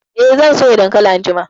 Eh, zan soya dankalin anjima